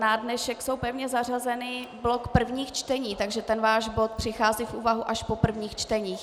Na dnešek je pevně zařazen blok prvních čtení, takže ten váš bod přichází v úvahu až po prvních čteních.